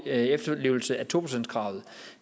efterlevelse af to procentskravet